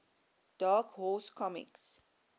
dark horse comics